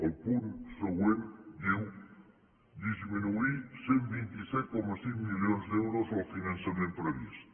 el punt següent diu disminuir cent i vint set coma cinc milions d’euros el finançament previst